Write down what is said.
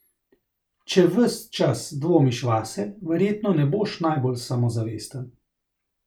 Če ves čas dvomiš vase, verjetno ne boš najbolj samozavesten.